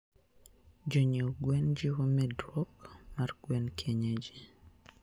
jonyie gwen jiwo medruok mar gwen kienyeji